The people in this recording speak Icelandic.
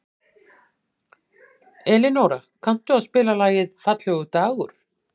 Elinóra, kanntu að spila lagið „Fallegur dagur“?